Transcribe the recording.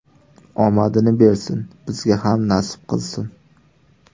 Omadini bersin, bizga ham nasib qilsin”.